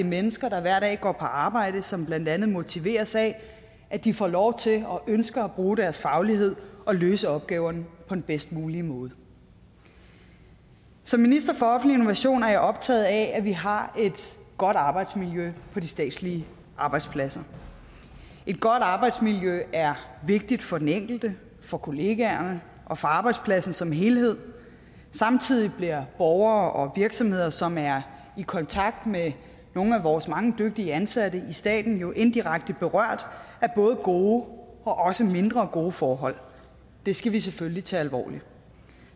mennesker der hver dag går på arbejde og som blandt andet motiveres af at de får lov til og ønsker at bruge deres faglighed og løse opgaverne på den bedst mulige måde som minister for offentlig innovation er jeg optaget af at vi har et godt arbejdsmiljø på de statslige arbejdspladser et godt arbejdsmiljø er vigtigt for den enkelte for kollegaerne og for arbejdspladsen som helhed samtidig bliver borgere og virksomheder som er i kontakt med nogle af vores mange dygtige ansatte i staten jo indirekte berørt af både gode og mindre gode forhold det skal vi selvfølgelig tage alvorligt